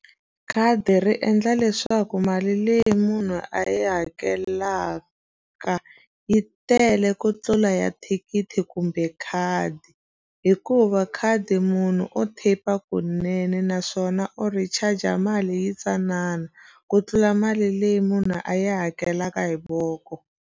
Khadi ri endla leswaku mali leyi munhu a yi hakelaka yi tele ku tlula ya thikithi kumbe khadi hikuva khadi munhu o tap-a kunene naswona u recharger mali yintsanana ku tlula mali leyi munhu a yi hakelaka hi voko.